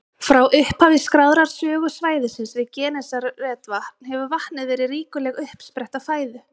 Frá upphafi skráðrar sögu svæðisins við Genesaretvatn hefur vatnið verið ríkuleg uppspretta fæðu.